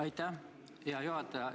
Aitäh, hea juhataja!